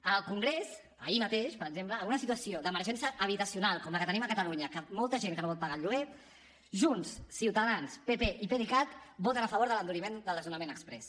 en el congrés ahir mateix per exemple en una situació d’emergència habitacional com la que tenim a catalunya de molta gent que no pot pagar el lloguer junts ciutadans pp i pdecat voten a favor de l’enduriment del desnonament exprés